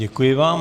Děkuji vám.